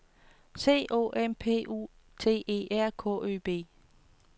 C O M P U T E R K Ø B